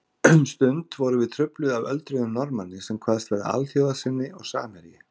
Um stund vorum við trufluð af öldruðum Norðmanni sem kvaðst vera alþjóðasinni og samherji